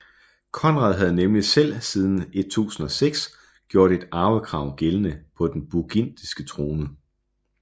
Konrad havde nemlig selv siden 1006 gjort et arvekrav gældende på den burgundiske krone